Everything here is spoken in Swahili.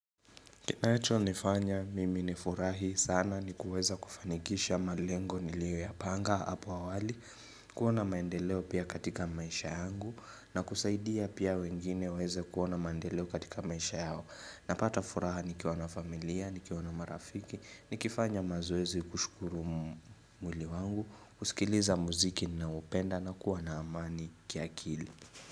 Kinacho nifanya mimi ni furahi sana ni kuweza kufanikisha malengo niliyo ya panga hapa awali kuona maendeleo pia katika maisha yangu na kusaidia pia wengine waeze kuwa na maendeleo katika maisha yao Napata furaha ni kiwa na familia, ni kiwa na marafiki, ni kifanya mazoezi kushukuru mwili wangu kusikiliza muziki na upenda na kuwa na amani kia kili.